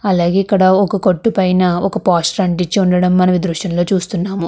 అలాగే ఇక్కడ ఒక కొట్టు పైన ఒక పోస్టర్ అంటించి ఉండడం మన దృశ్యంలో చూస్తున్నాము.